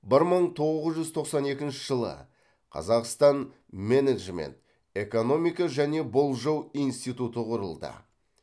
бір мың тоғыз жүз тоқсан екінші жылы қазақстан менеджмент экономика және болжау институты құрылды